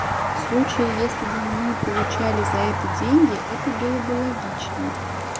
в случае если бы мы получали за это деньги это было бы логично